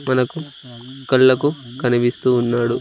మనకు కళ్లకు కనిపిస్తూ ఉన్నాడు.